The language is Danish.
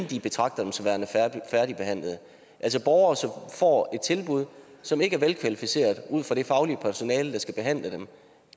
de betragter dem som værende færdigbehandlet altså borgere som får et tilbud som ikke er velkvalificeret ud fra det faglige personale der skal behandle dem